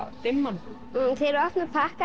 dimman þegar ég opna pakkana